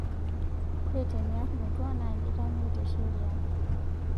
Ore tiniarr metuaa naa keitamei te sheriaa